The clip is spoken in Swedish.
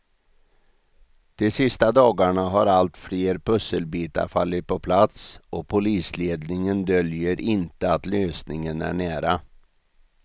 De sista dagarna har allt fler pusselbitar fallit på plats och polisledningen döljer inte att lösningen är nära.